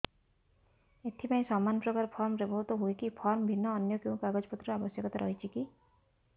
ଏଥିପାଇଁ ସମାନପ୍ରକାର ଫର୍ମ ବ୍ୟବହୃତ ହୂଏକି ଫର୍ମ ଭିନ୍ନ ଅନ୍ୟ କେଉଁ କାଗଜପତ୍ରର ଆବଶ୍ୟକତା ରହିଛିକି